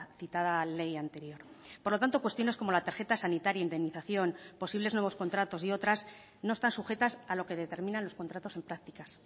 citada ley anterior por lo tanto cuestiones como la tarjeta sanitaria indemnización posibles nuevos contratos y otras no están sujetas a lo que determinan los contratos en prácticas